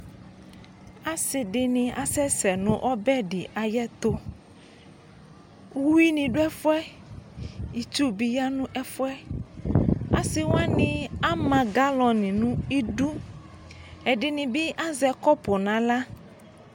Asi di ni asɛsɛ nʋ ɔbɛ di ayɛtʋ Uwi ni dʋ ɛfuɛ, itsu bi yanʋ ɛfuɛ Asi wani ama galɔni nʋ idu Ɛdini bi azɛ kɔpʋ n'aɣla